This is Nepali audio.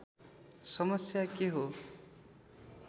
समस्या के हो